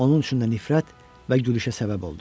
Onun üçün də nifrət və gülüşə səbəb oldum.